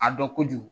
A dɔn kojugu